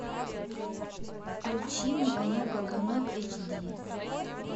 включи мне конек горбунок эйч ди